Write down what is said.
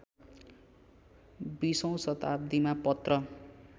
२०औँ शताब्दीमा पत्र